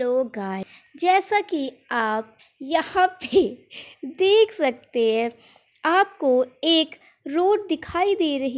hello guys जैसा की आप यहां पे देख सकते है आपको एक रोड दिखाई दे रही --